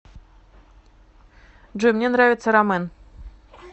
джой мне нравится рамэн